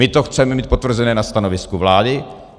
My to chceme mít potvrzené na stanovisku vlády.